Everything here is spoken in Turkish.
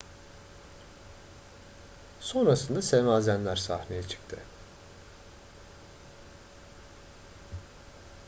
sonrasında semazenler sahneye çıktı